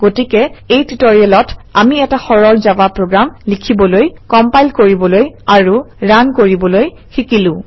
গতিকে এই টিউটৰিয়েলত আমি এটা সৰল জাভা প্ৰগ্ৰাম লিখিবলৈ কম্পাইল কৰিবলৈ আৰু ৰান কৰিবলৈ শিকিলো